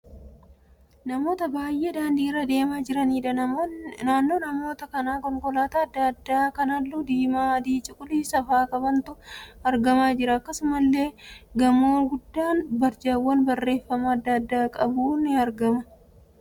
Namoota baay'ee daandii irra deemaa jiraniidha. Naannoo namoota kanaa konkolaataa adda addaa kan halluu diimaa, adii, cuquliisa faa qabantu argamaa jira. Akkasumallee gamoon guddaa barjaawwan barreeffamaa adda addaa qabu argamaa jira.